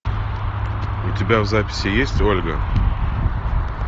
у тебя в записи есть ольга